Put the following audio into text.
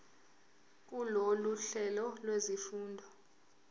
kulolu hlelo lwezifundo